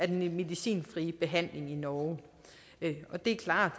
den medicinfrie behandling i norge det er klart